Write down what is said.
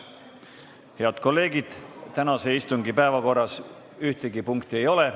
Head kolleegid, tänase istungi päevakorras ühtegi punkti ei ole.